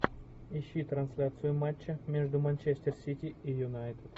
ищи трансляцию матча между манчестер сити и юнайтед